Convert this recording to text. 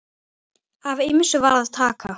Af ýmsu var að taka.